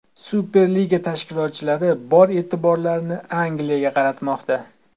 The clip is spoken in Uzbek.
Superliga tashkilotchilari bor e’tiborini Angliyaga qaratmoqda.